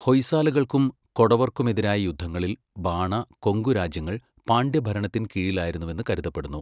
ഹൊയ്സാലകൾക്കും കൊടവർക്കുമെതിരായ യുദ്ധങ്ങളിൽ ബാണ, കൊങ്കു രാജ്യങ്ങൾ പാണ്ഡ്യ ഭരണത്തിൻ കീഴിലായിരുന്നുവെന്ന് കരുതപ്പെടുന്നു.